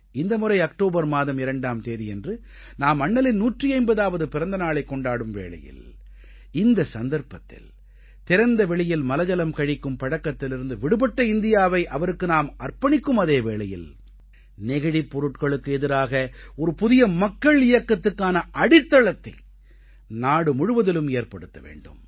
இந்த முறை அக்டோபர் மாதம் 2ஆம் தேதியன்று நாம் அண்ணலின் 150ஆவது பிறந்த நாளைக் கொண்டாடும் வேளையில் இந்த சந்தர்ப்பத்தில் திறந்த வெளியில் மலஜலம் கழிக்கும் பழக்கத்திலிருந்து விடுபட்ட இந்தியாவை அவருக்கு அர்ப்பணிக்கும் அதே நேரத்தில் நெகிழிப் பொருட்களுக்கு எதிராக ஒரு புதிய மக்கள் இயக்கத்துக்கான அடித்தளத்தை நாடு முழுவதிலும் ஏற்படுத்த வேண்டும்